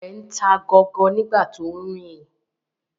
Ọmọ rẹ ń ta gọọgọ nigbati o nrin